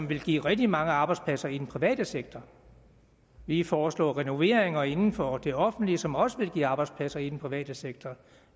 vil give rigtig mange arbejdspladser i den private sektor vi foreslår renoveringer inden for det offentlige som også vil give arbejdspladser i den private sektor